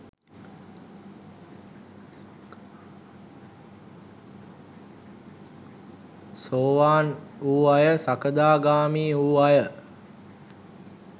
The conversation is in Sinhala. සෝවාන් වූ අය සකදාගාමී වූ අය